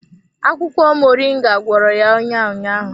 Akwụkwọ Moringa gwọrọ ya ọnya ụnyaahụ.